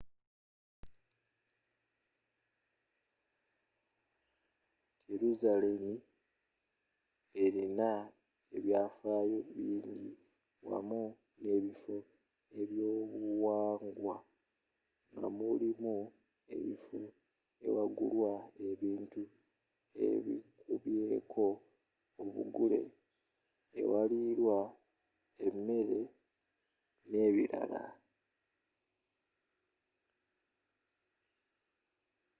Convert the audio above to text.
jerusalemi erina ebyafaayo bingi wamu nebifo byebyobuwangwa ngamulimu ebifo ewagulwa ebintu ebikubyeko obugule ewalirwa emmere nebirala